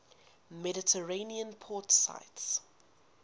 mediterranean port cities